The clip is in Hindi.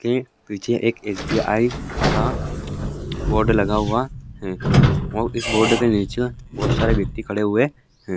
ठीक पीछे एक एस.बी.आई का बोर्ड लगा हुआ है और इस बोर्ड के नीचे बहोत सारे व्यक्ति खड़े हुए हैं।